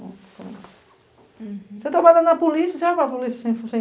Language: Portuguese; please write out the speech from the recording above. Você trabalha na polícia, você vai para a polícia sem a farda?